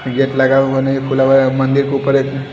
gate लगा हुआ नही है खुला हुआ है मन्दिर के उपर एक--